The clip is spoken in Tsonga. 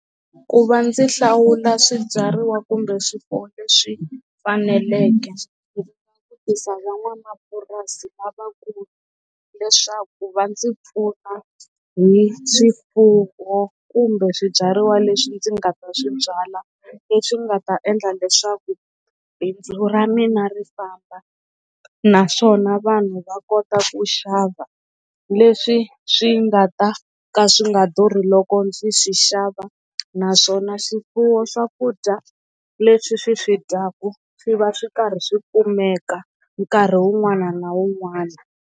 Ku va ndzi hlawula swibyariwa kumbe swifuwo leswi faneleke ndzi langutisa va n'wamapurasi lavakulu leswaku va ndzi pfuna hi swifuwo kumbe swibyariwa leswi ndzi nga ta swi byala leswi nga ta endla leswaku bindzu ra mina ri famba naswona vanhu va kota ku xava leswi swi nga ta ka swi nga durhi loko ndzi swi xava naswona swifuwo swakudya leswi swi swi dyaku swi va swi karhi swi kumeka nkarhi wun'wana na wun'wana.